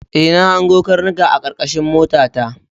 E, na hango karnukanka a karkashin motata.